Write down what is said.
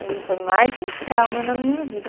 Ali foi mais um trauma na minha vida.